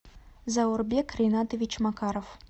заурбек ринатович макаров